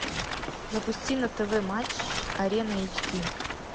запусти на тв матч арена эйч ди